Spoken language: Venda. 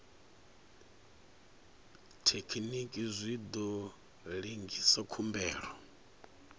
thekinini zwi ḓo lengisa khumbelo